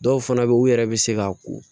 Dɔw fana bɛ u yɛrɛ bɛ se ka ko